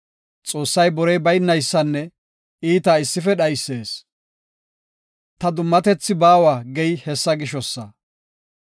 Xoossay borey baynaysanne iita issife dhaysees; ta dummatethi baawa gey hessa gishosa.